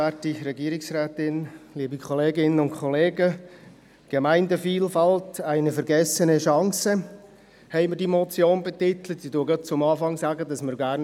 Wir möchten über alle Ziffern einzeln abstimmen, das will ich gleich zu Beginn sagen.